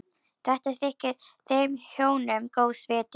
Þetta þykir þeim hjónum góðs viti.